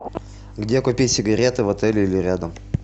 где купить сигареты в отеле или рядом